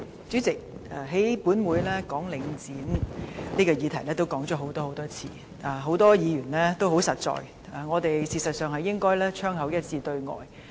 主席，本會已多次討論有關領展房地產投資信託基金的議題，很多議員說的也很實在，我們實應槍口一致對外。